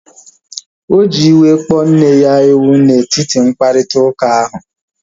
Oji iwe wee kpọọ nne ya ewu na etiti mkparịta ụka ahu